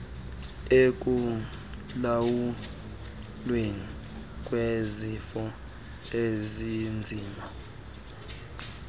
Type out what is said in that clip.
ekulawulweni kwezifo ezinzima